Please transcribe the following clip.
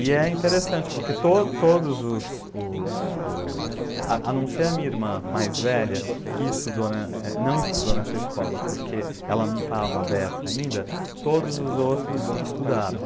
E é interessante, porque todos os, os, os... A não ser a minha irmã mais velha, que estudou, não estudou nessa escola, porque ela não estava aberta ainda, todos os outros estudaram.